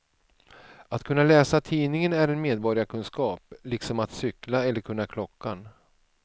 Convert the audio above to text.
Att kunna läsa tidningen är en medborgarkunskap, liksom att cykla eller kunna klockan.